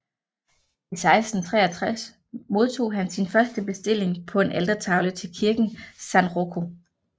I 1663 modtog han sin første bestilling på en altertavle til kirken San Rocco